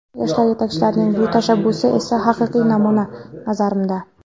Yoshlar yetakchilarining bu tashabbusi esa haqiqiy namuna, nazarimda.